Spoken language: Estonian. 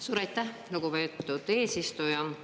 Suur aitäh, lugupeetud eesistuja!